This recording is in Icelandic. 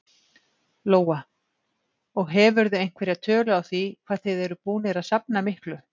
Lóa: Og hefurðu einhverja tölu á því hvað þið eruð að búnir að safna miklu?